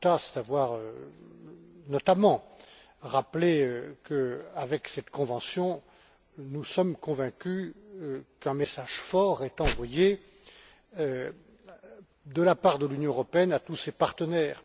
Cutaş, d'avoir notamment rappelé que, avec cette convention, nous sommes convaincus qu'un message fort est envoyé de la part de l'Union européenne à tous ses partenaires.